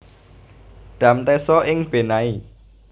Dam Teso ing Benai